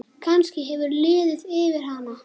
Kannski hefur liðið yfir hana?